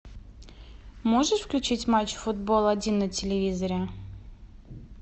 можешь включить матч футбол один на телевизоре